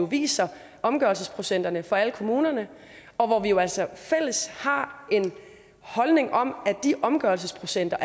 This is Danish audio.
viser omgørelsesprocenterne for alle kommunerne og hvor vi jo altså fælles har en holdning om at de omgørelsesprocenter